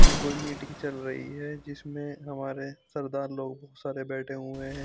यह कोई मीटिंग चल रही है जिसमें हमारे सरदार लोग बहुत सारे बैठे हुए हैं।